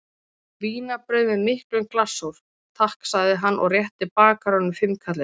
Vínarbrauð með miklum glassúr, takk sagði hann og rétti bakaranum fimmkallinn.